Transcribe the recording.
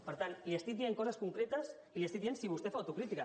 per tant li estic dient coses concretes i li estic dient si vostè fa autocrítica